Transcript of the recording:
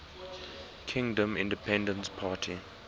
kingdom independence party